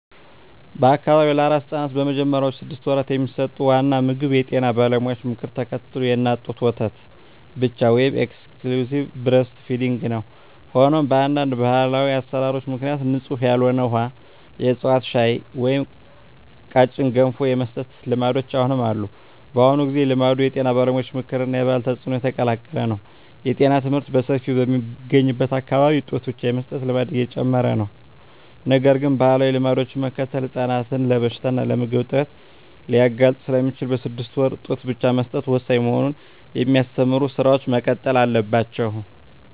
በአካባቢው ለአራስ ሕፃናት በመጀመሪያዎቹ ስድስት ወራት የሚሰጠው ዋና ምግብ የጤና ባለሙያዎችን ምክር ተከትሎ የእናት ጡት ወተት ብቻ (Exclusive Breastfeeding) ነው። ሆኖም፣ በአንዳንድ ባህላዊ አሠራሮች ምክንያት ንጹሕ ያልሆነ ውሃ፣ የዕፅዋት ሻይ ወይም ቀጭን ገንፎ የመስጠት ልማዶች አሁንም አሉ። በአሁኑ ጊዜ፣ ልማዱ የጤና ባለሙያዎች ምክር እና የባህል ተጽዕኖ የተቀላቀለ ነው። የጤና ትምህርት በሰፊው በሚገኝበት አካባቢ ጡት ብቻ የመስጠት ልማድ እየጨመረ ነው። ነገር ግን፣ ባህላዊ ልማዶችን መከተል ሕፃናትን ለበሽታ እና ለምግብ እጥረት ሊያጋልጥ ስለሚችል፣ በስድስት ወራት ጡት ብቻ መስጠት ወሳኝ መሆኑን የሚያስተምሩ ሥራዎች መቀጠል አለባቸው።